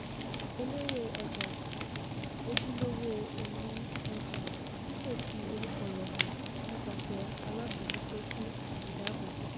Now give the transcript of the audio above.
elérè-ọjà - ojúlówó oní-ọjà tí kò fi orúkọ rẹ̀ hàn nípasẹ̀ alábòjútó fún ìdáàbòbò.